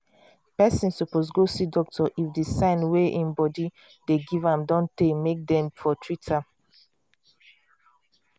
person suppose go see doctor if the sign wey im body dey give am don tey make dem for treat am